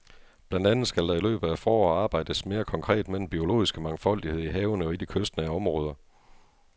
Blandt andet skal der i løbet af foråret arbejdes mere konkret med den biologiske mangfoldighed i havene og i de kystnære områder.